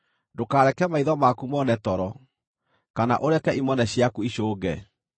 Ndũkareke maitho maku mone toro, kana ũreke imone ciaku icũnge.